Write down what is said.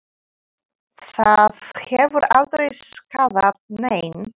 Það hefur aldrei skaðað neinn.